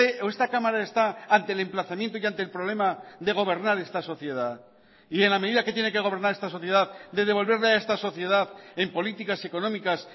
o esta cámara está ante el emplazamiento y ante el problema de gobernar esta sociedad y en la medida que tiene que gobernar esta sociedad de devolverle a esta sociedad en políticas económicas